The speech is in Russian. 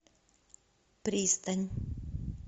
пристань